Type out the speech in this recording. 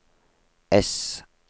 ess